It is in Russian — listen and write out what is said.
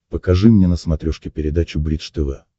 покажи мне на смотрешке передачу бридж тв